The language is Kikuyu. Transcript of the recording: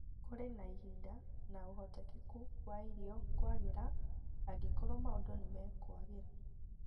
Kũrĩ na ihinda na ũhotekeku wa irio kwagĩra angĩkorũo maũndũ nĩ mekũagĩra